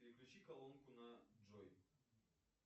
переключи колонку на джой